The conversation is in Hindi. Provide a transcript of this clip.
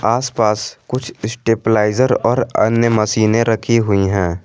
आसपास कुछ स्टेपलाइजर और अन्य मशीनें रखी हुई है।